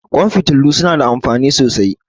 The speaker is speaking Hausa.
Ƙwan fitilu su na da amfani sosai